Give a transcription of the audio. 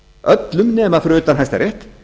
öllum fyrir utan hæstarétt